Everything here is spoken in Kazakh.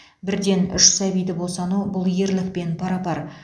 бірден үш сәбиді босану бұл ерлікпен пара пар